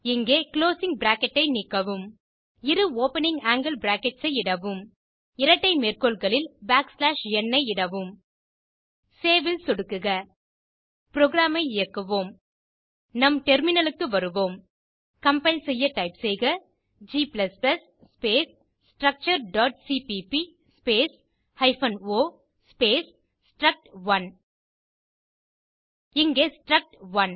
இங்கே closing bracket ஐ நீக்கவும் இரு ஓப்பனிங் ஆங்கில் பிராக்கெட்ஸ் ஐ இடவும் இரட்டை மேற்கோள்களில் n ஐ இடவும் சேவ் ல் சொடுக்குக புரோகிராம் ஐ இயக்குவோம் நம் டெர்மினல் க்கு வருவோம் கம்பைல் செய்ய டைப் செய்க g ஸ்பேஸ் structureசிபிபி space hyphen o space struct one இங்கே ஸ்ட்ரக்ட்1